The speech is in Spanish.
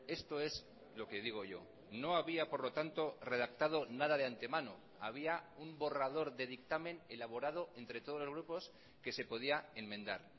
esto es lo que digo yo no había por lo tanto redactado nada de antemano había un borrador de dictamen elaborado entre todos los grupos que se podía enmendar